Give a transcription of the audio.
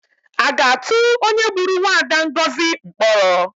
A ga-atụ onye gburu mwaada Ngozi mkpọrọ?